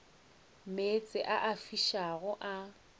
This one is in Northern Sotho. meetse a a fišago a